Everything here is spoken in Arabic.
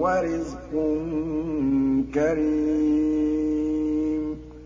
وَرِزْقٌ كَرِيمٌ